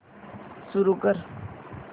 सुरू कर